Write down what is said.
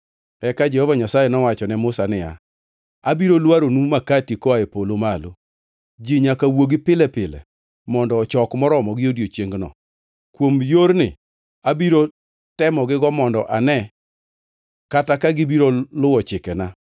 Eka Jehova Nyasaye nowacho ne Musa niya, “Abiro lwaronu makati koa e polo malo. Ji nyaka wuogi pile pile mondo ochok moromogi odiechiengno. Kuom yorni abiro temogigo mondo ane kata ka gibiro luwo chikena.”